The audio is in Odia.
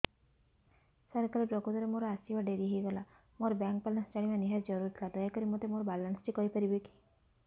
ସାର କାଲି ପ୍ରକୃତରେ ମୋର ଆସିବା ଡେରି ହେଇଗଲା ମୋର ବ୍ୟାଙ୍କ ବାଲାନ୍ସ ଜାଣିବା ନିହାତି ଜରୁରୀ ଥିଲା ଦୟାକରି ମୋତେ ମୋର ବାଲାନ୍ସ ଟି କହିପାରିବେକି